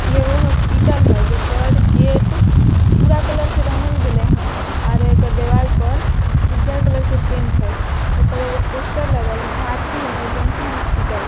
ये वो हॉस्पिटल है एकर गेट भूरा कलर से रंगल गैले हे ओरो एकर दीवाल पर उजर कलर के पेंट हई ए पर एगो पोस्टर लगल हई भारती इमरजेंसी हॉस्पिटल ।